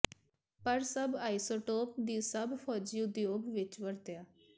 ਪਰ ਸਭ ਆਈਸੋਟੋਪ ਦੀ ਸਭ ਫੌਜੀ ਉਦਯੋਗ ਵਿੱਚ ਵਰਤਿਆ